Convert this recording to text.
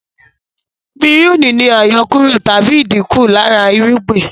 Pírùnì ni àyọkúrọ̀ tàbí ìdínkù lára irúgbìn